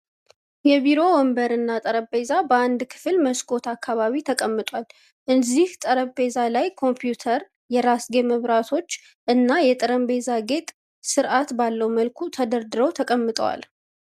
የቢሮ ወንበር እና ጠረጴዛ በአንድ ክፍል መስኮት አካባቢ ተቀምጧል። እዚህ ጠረጴዛ ላይም ኮምፕዩተር፣ የራስጌ መብራቶች እና የጠረጴዛ ጌጥ ስርአት ባለው መልኩ ተደርድረው ተቀምጠዋል።